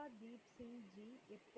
தாரன்